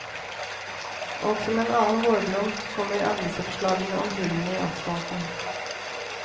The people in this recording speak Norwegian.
Og som en annen vårblomst kommer avisoppslagene om hullene i asfalten.